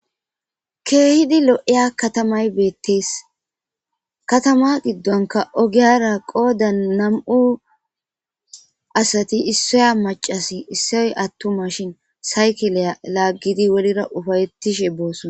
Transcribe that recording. keehidi lo7iya katamay beettees katama giddonka ogiyara qoodan nam7u asati issoya macasi issoy attuma shin saykeleya laaggidi wolira ufayettishe boosona